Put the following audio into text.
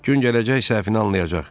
Gün gələcək səhvini anlayacaq.